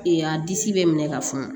a disi bɛ minɛ ka funu